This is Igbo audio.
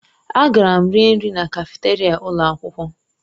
Agara m rie nri na kafeteria ụlọ akwụkwọ.